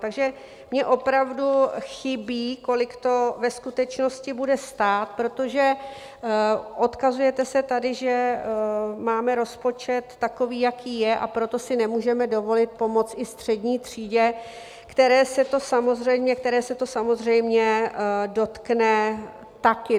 Takže mně opravdu chybí, kolik to ve skutečnosti bude stát, protože odkazujete se tady, že máme rozpočet takový, jaký je, a proto si nemůžeme dovolit pomoct i střední třídě, které se to samozřejmě dotkne také.